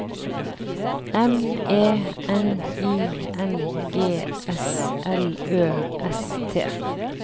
M E N I N G S L Ø S T